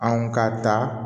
Anw ka ta